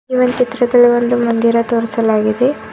ಇದು ಒನ್ ಚಿತ್ರದಲ್ಲಿ ಒಂದು ಮಂದಿರ ತೋರಿಸಲಾಗಿದೆ.